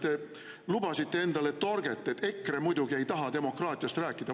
Te lubasite endale torget, et EKRE muidugi ei taha demokraatiast rääkida.